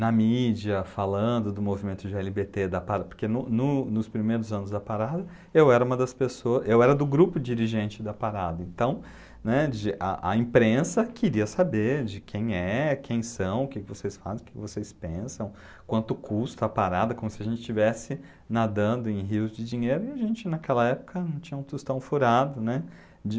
na mídia falando do movimento gê ele bê tê, da para, porque no no nos primeiros anos da Parada eu era uma das pessoa, eu era do grupo dirigente da parada, então, né, de a, a imprensa queria saber de quem é, quem são, o que vocês fazem, o que vocês pensam, quanto custa a parada, como se a gente estivesse nadando em rios de dinheiro e a gente naquela época não tinha um tostão furado, né? De